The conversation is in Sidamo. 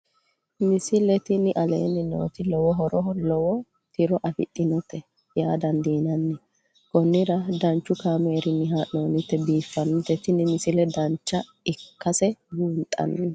misile tini aleenni nooti lowo horonna lowo tiro afidhinote yaa dandiinanni konnira danchu kaameerinni haa'noonnite biiffannote tini misile dancha ikkase buunxanni